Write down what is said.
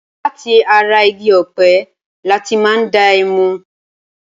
Láti ara igi ọ̀pẹ lati máa ń dá ẹmu.